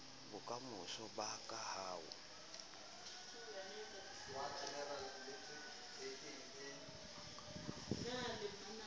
bokamoso ba ka ha o